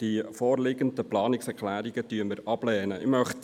Die vorliegenden Planungserklärungen lehnen wir ab.